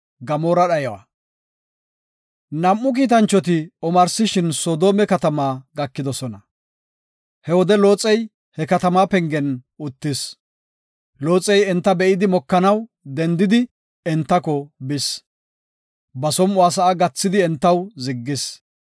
Nam7u kiitanchoti omarsishin Soodome katamaa gakidosona. He wode Looxey he katamaa pengen uttis. Looxey enta be7idi mokanaw dendidi entako bis. Ba som7uwa sa7a gathidi entaw ziggis.